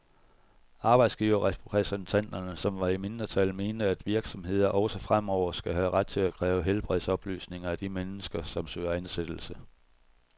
Arbejdsgiverrepræsentanterne, som var i mindretal, mente, at virksomheder også fremover skal have ret til at kræve helbredsoplysninger af de mennesker, som søger ansættelse.